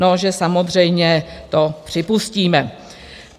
No, že samozřejmě to připustíme.